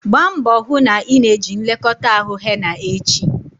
Gbaa mbọ hụ na ị na-eji nlekọta ahụ henna echi!